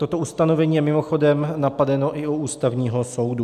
Toto ustanovení je mimochodem napadeno i u Ústavního soudu.